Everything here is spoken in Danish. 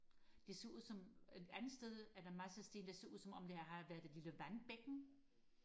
det ser ud som et andet sted er der en masse sten der ser ud som om der har været et lille vandbækken